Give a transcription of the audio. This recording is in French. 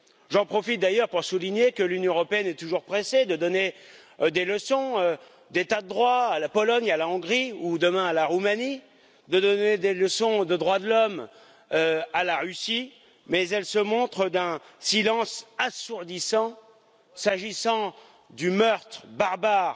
J'en profite d'ailleurs pour souligner que l'Union européenne est toujours pressée de donner des leçons d'état de droit à la Pologne, à la Hongrie ou, demain, à la Roumanie, de donner des leçons de droits de l'homme à la Russie, mais elle se montre d'un silence assourdissant s'agissant du meurtre barbare